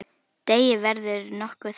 Deigið verður nokkuð þunnt.